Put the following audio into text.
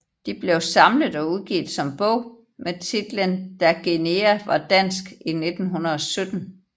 De blev samlet og udgivet som bog med titlen Da Guinea var dansk i 1917